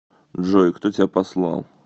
джой кто тебя послал